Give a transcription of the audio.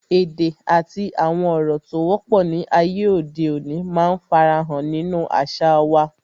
Èdè àti àwọn ọ̀rọ̀ tó wọ́pọ̀ ni ayé òde òní máa ń fara hàn nínú àṣà wa